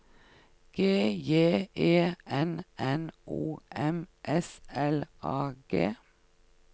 G J E N N O M S L A G